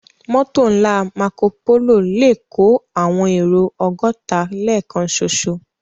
Mòtó nlá Mákópóló lè kó áwòn éró ògòtá lèkán ṣóṣó